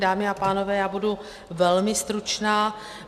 Dámy a pánové, já budu velmi stručná.